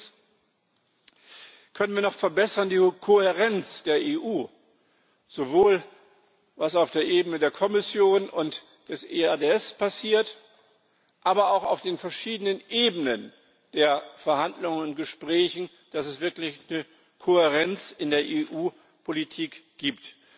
Drittens können wir die Kohärenz der EU noch verbessern, sowohl was auf der Ebene der Kommission und des EADS passiert, aber auch auf den verschiedenen Ebenen der Verhandlungen und Gespräche, dass es wirklich eine Kohärenz in der EU Politik gibt.